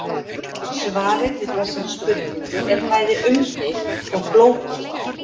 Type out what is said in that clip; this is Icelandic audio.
Svarið við þessari spurningu er bæði umdeilt og flókið.